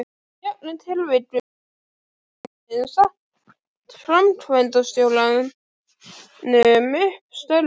Í öllum tilvikum getur stjórnin sagt framkvæmdastjóranum upp störfum.